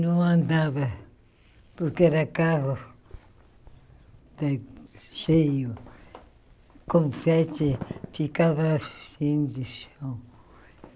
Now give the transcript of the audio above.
Não andava, porque era carro ta cheio, com frete, ficava cheio de chão.